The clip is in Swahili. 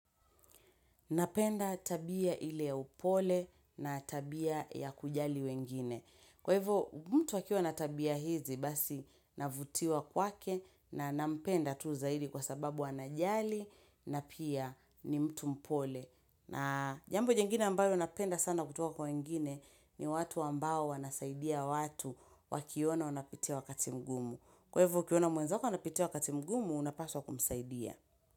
Napenda tabia ile ya upole na tabia yakujali wengine. Kwa hivyo, mtu akiwa na tabia hizi, basi navutiwa kwake na napenda tu zaidi kwasababu anajali na pia ni mtu mpole. Na jambo jingine ambayo napenda sana kutuwa kwa wengine ni watu ambao wanasaidia watu wakiona wanapitia wakati mgumu. Kwa hivyo, ukiona mwenzako anapitia wakati mgumu, unapaswa kumsaidia.